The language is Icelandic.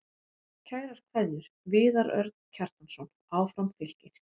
Kærar kveðjur, Viðar Örn Kjartansson Áfram Fylkir